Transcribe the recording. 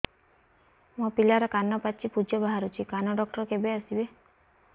ମୋ ପିଲାର କାନ ପାଚି ପୂଜ ବାହାରୁଚି କାନ ଡକ୍ଟର କେବେ ଆସିବେ